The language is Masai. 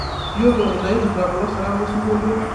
iyiolo inaipirta kulosirat losingolio